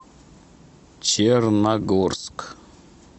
черногорск